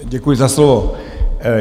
Děkuji za slovo.